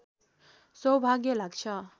सौभाग्य लाग्छ